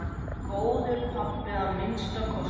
Góður pabbi að minnsta kosti.